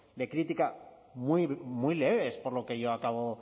de crítica muy leves por lo que yo acabo